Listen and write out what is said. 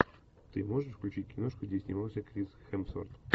ты можешь включить киношку где снимался крис хемсворт